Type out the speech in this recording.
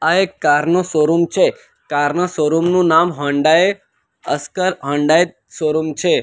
આ એક કાર નો શોરૂમ છે કારનો શોરૂમ નું નામ હોન્ડાઈ અસકર હોન્ડાઈ શોરૂમ છે.